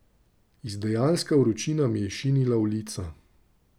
Izdajalska vročina mi je šinila v lica.